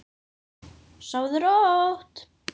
Sofðu rótt.